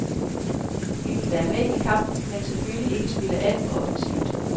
Vi vil være med i kampen men selvfølgelig ikke spille alt for offensivt.